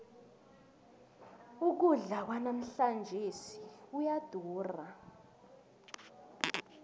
ukudla kwanamhlanjesi kuyadura